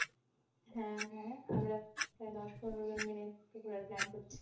হ্যাঁ, হ্যাঁ, আমরা দশ পনেরো জন মিলে plan করছি।